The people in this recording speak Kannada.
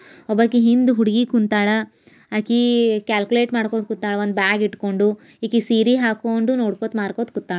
ಒಬ್ಬಾಕಿ ಹಿಂದ್ ಹುಡುಗಿ ಕುಂತಳ ಹಾಕಿ ಕ್ಯಾಲ್ಕುಲೇಟ್ ಮಾಡ್ಕೊಂಡ್ ಕೂತಾಳ ಒಂದ್ ಬ್ಯಾಗ್ ಇಡ್ಕೊಂಡು ಈಕಿ ಸೀರೆ ಹಾಕೊಂಡು ನೋಡ್ಕೋತ್ ಮಾರ್ಕೋತ್ ಕೂತಾಳ.